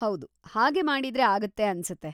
ಹೌದು, ಹಾಗೆ ಮಾಡಿದ್ರೆ ಆಗತ್ತೆ ಅನ್ಸತ್ತೆ.